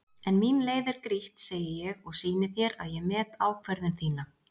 En mín leið er grýtt, segi ég og sýni þér að ég met ákvörðun þína.